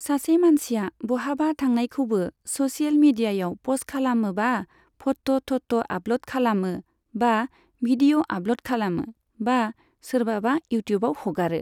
सासे मानसिआ बहाबा थांनायखौबो स'सियेल मिडियायाव प'स्ट खालामो बा फट' थट' आपल'ड खालामो, बा भिडिय' आपल'ड खालामो, बा सोरबाबा इउट्युबआव हगारो।